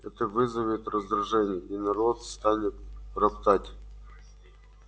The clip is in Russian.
это вызовет раздражение и народ станет роптать